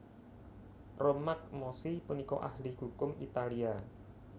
Romagnosi punika ahli hukum Italia